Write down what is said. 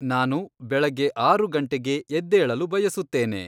ನಾನು ಬೆಳಗ್ಗೆ ಆರು ಗಂಟೆಗೆ ಎದ್ದೇಳಲು ಬಯಸುತ್ತೇನೆ